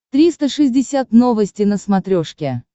триста шестьдесят новости на смотрешке